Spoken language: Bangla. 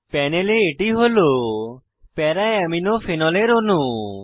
প্যানেলে এটি হল para আমিনো প্যারা অ্যামিনো ফেনলের অণু